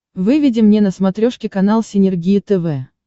выведи мне на смотрешке канал синергия тв